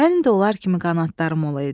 Mənim də onlar kimi qanadlarım olaydı.